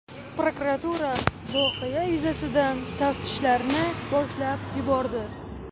Prokuratura voqea yuzasidan taftishlarni boshlab yubordi.